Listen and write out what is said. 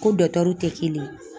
Ko tɛ kelen ye